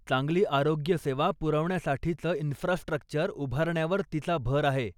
चांगली आरोग्यसेवा पुरवण्यासाठीचं इन्फ्रास्ट्रक्चर उभारण्यावर तिचा भर आहे.